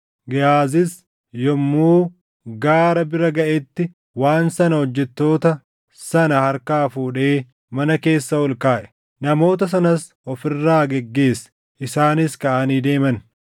Gehaazis yommuu gaara bira gaʼetti waan sana hojjettoota sana harkaa fuudhee mana keessa ol kaaʼe. Namoota sanas of irraa geggeesse; isaanis kaʼanii deeman.